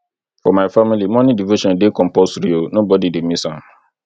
for my family morning devotion dey compulsory o nobody dey miss am